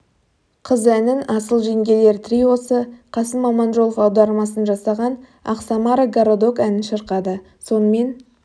қыз әнін асыл жеңгелер триосы қасым аманжолов аудармасын жасаған ах самара городок әнін шырқады сонымен